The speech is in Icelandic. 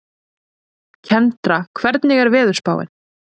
Kendra, hvernig er veðurspáin?